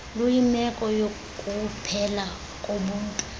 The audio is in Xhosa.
luyimeko yokuphela kobuntu